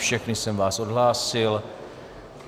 Všechny jsem vás odhlásil.